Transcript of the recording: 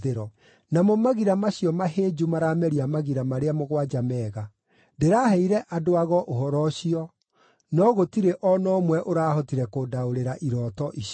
Namo magira macio mahĩnju marameria magira marĩa mũgwanja mega. Ndĩraheire andũ-ago ũhoro ũcio, no gũtirĩ o na ũmwe ũrahotire kũndaũrĩra irooto icio.”